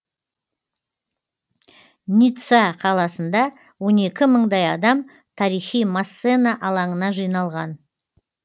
ницца қаласында он екі мыңдай адам тарихи массена алаңына жиналған